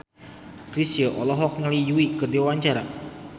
Chrisye olohok ningali Yui keur diwawancara